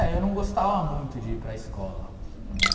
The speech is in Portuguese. É, eu não gostava muito de ir para a escola, né?